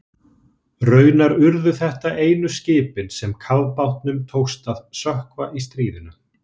Raunar urðu þetta einu skipin sem kafbátnum tókst að sökkva í stríðinu.